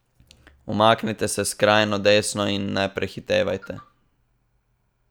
Umaknite se skrajno desno in ne prehitevajte.